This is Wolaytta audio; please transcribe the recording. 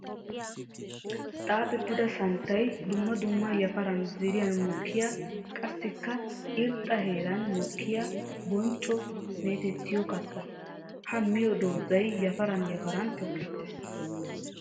Xaaxxettidda santtay dumma dumma yafaran zerin mokkiya qassikka irxxa heeran mokkiya boncco meetettiyo katta. Ha miyo doozzay yafaran yafaran tokkettees.